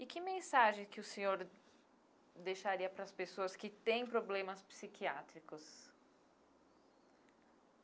E que mensagem que o senhor deixaria para as pessoas que têm problemas psiquiátricos?